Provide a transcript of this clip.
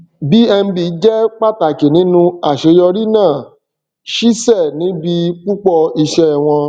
bnb je pàtàkì nínú àṣeyọrí náà ṣisẹ níbi púpọ iṣẹ won